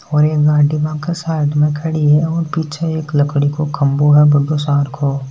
और गाडी साइड में खड़ी है और पीछे एक लकड़ी को खम्बो है बड़ो सारको।